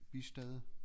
Bistad